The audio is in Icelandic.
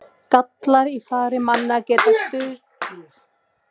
Gallar í fari manna geta stuðlað að því að þeir drýgi synd.